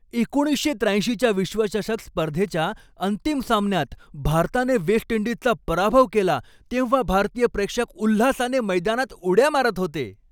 एकोणीसशे त्र्याऐंशीच्या विश्वचषक स्पर्धेच्या अंतिम सामन्यात भारताने वेस्ट इंडिजचा पराभव केला तेव्हा भारतीय प्रेक्षक उल्हासाने मैदानात उड्या मारत होते.